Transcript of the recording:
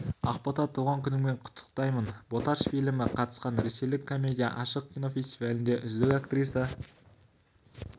ақбота туған күніңмен құттықтаймын боташ фильмі қатысқан ресейлік комедия ашық кинофестивалінде үздік актриса